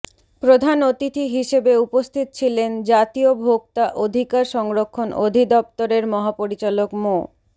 প্রধান অতিথি হিসেবে উপস্থিত ছিলেন জাতীয় ভোক্তা অধিকার সংরক্ষণ অধিদপ্তরের মহাপরিচালক মো